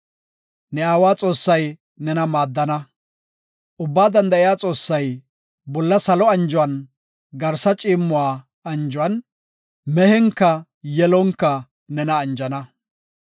Ne aawa Xoossay nena maaddana. Ubbaa Danda7iya Xoossay, Bolla salo anjuwan, Garsa ciimmuwa anjuwan, mehenka yelonka nena anjana.